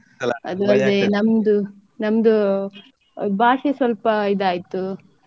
ನಮ್ದು ನಮ್ದು ಭಾಷೆ ಸ್ವಲ್ಪ ಇದಾಯ್ತು.